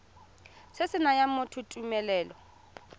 se se nayang motho tumelelo